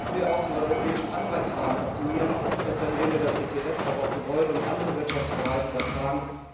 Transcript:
Dann könnten wir auch den europäischen Anreizrahmen optimieren, etwa indem wir das ETS auch auf Gebäude und andere Wirtschaftsbereiche übertragen.